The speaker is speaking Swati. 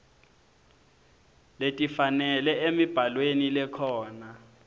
letifanele emibhalweni lekhona